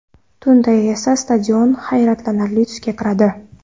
Tunda esa stadion hayratlanarli tusga kiradi.